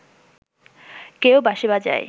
কেউ বাঁশি বাজায়